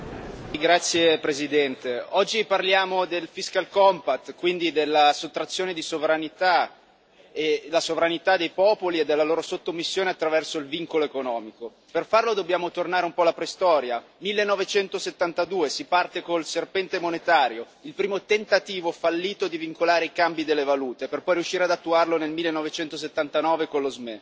Signor Presidente, onorevoli colleghi, oggi parliamo del e quindi della sottrazione della sovranità dei popoli e della loro sottomissione attraverso il vincolo economico. Per farlo dobbiamo tornare un po' alla preistoria 1972. Si parte col serpente monetario, il primo tentativo fallito di vincolare i cambi delle valute, per poi riuscire ad attuarlo nel 1979 con lo SME.